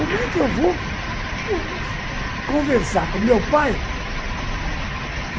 Como é que eu vou conversar com o meu pai?